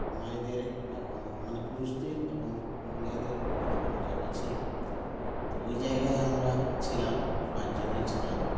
মায়েদের এবং মানে পুরুষদের এবং মেয়েদের ভিন্ন ভিন্ন জায়গা ছিল তো ঐ জায়গায় আমরা ছিলাম পাঁচজনেই ছিলাম